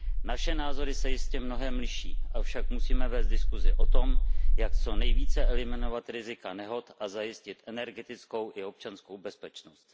Naše názory se jistě v mnohém liší, avšak musíme vést diskusi o tom, jak co nejvíce eliminovat rizika nehod a zajistit energetickou i občanskou bezpečnost.